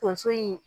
Tonso in